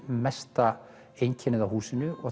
mesta einkennið á húsinu og